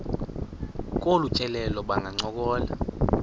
kolu tyelelo bangancokola